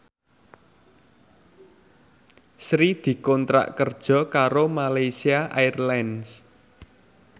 Sri dikontrak kerja karo Malaysia Airlines